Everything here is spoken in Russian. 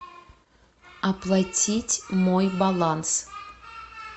оплатить мой баланс